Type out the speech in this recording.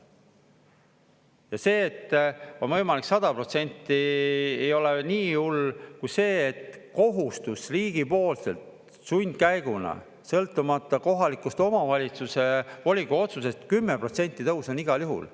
Ja see, et on võimalik 100%, ei ole veel nii hull kui see, et kohustus riigipoolselt, sundkäiguna, sõltumata kohaliku omavalitsuse volikogu otsusest, 10% tõus on igal juhul.